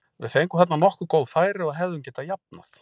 Við fengum þarna nokkur góð færi og hefðum getað jafnað.